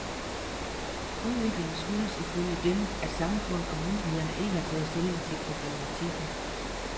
Udviklingen skyldes ifølge dem, at samfundet og myndighederne ikke har taget stilling til problematikken.